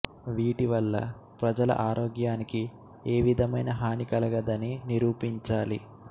వీటి వల్ల ప్రజల ఆరోగ్యానికి ఏ విధమైన హానీ కలగదని నిరూపించాలి